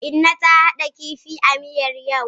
Inna ta hada kifin a miyar yau.